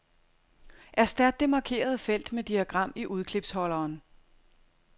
Erstat det markerede felt med diagram i udklipsholderen.